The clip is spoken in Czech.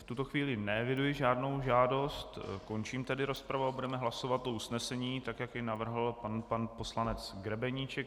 V tuto chvíli neeviduji žádnou žádost, končím tedy rozpravu a budeme hlasovat o usnesení, tak jak je navrhl pan poslanec Grebeníček.